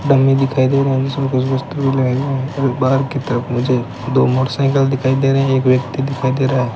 dummy दिखाई दे रहे जिसमे और एक बाहर की तरफ मुझे दो मोटरसाइकल दिखाई दे रहे हैं एक व्यक्ति दिखाई दे रहा --